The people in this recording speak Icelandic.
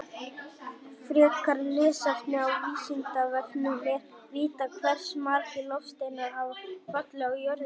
Frekara lesefni á Vísindavefnum: Er vitað hversu margir loftsteinar hafa fallið á jörðina?